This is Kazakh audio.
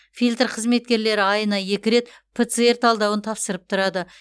фильтр қызметкерлері айына екі рет пцр талдауын тапсырып тұрады